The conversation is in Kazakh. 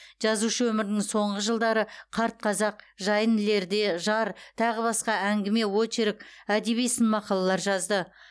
жазушы өмірінің соңғы жылдары қарт қазақ жайын ілерде жар тағы басқа әңгіме очерк әдеби сын мақалалар жазды